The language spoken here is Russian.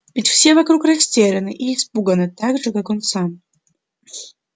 ведь все вокруг растеряны и испуганы так же как он сам